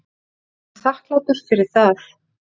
Ég er honum þakklátur fyrir það.